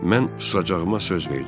Mən susacağıma söz verdim.